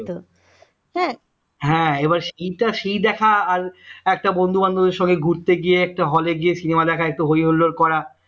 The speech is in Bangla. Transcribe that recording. হ্যা ইটা সেই দেখা আর একটা বন্ধু বান্ধবের সঙ্গে ঘুরতে গিয়ে একটা hole এ গিয়ে cinema দেখা একটা হৈ হুল্লোড় করা